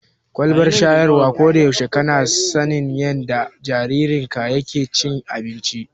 Kwalbar shayarwa, ko da yaushe kana sanin yadda jaririnka yake cin abinci.